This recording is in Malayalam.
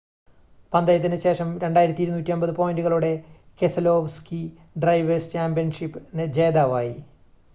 പന്തയത്തിനു ശേഷം 2,250 പോയിൻ്റുകളോടെ കെസലോവ്സ്കി ഡ്രൈവേർസ് ചാമ്പ്യൻഷിപ് ജേതാവായി